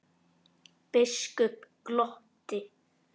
Biskup glotti.